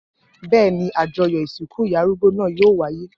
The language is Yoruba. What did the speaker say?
Bẹ́ẹ̀ ni, àjọyọ̀ ìsìnkú ìyá arúgbó náà yóò wáyé.